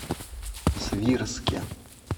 свирске